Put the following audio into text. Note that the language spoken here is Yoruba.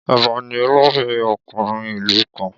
Ọba ní olórí ọkùnrin ìlú kanr